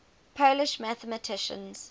polish mathematicians